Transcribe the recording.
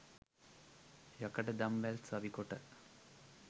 යකඩ දම්වැල් සවිකොට